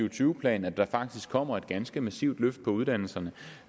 og tyve planen at der faktisk kommer et ganske massivt løft af uddannelserne